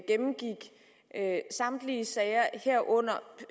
gennemgik samtlige sager herunder